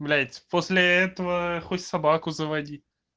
блять после этого хоть собаку заводи